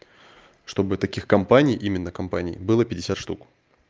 чтобы таких компаний именно компаний было пятьдесят штук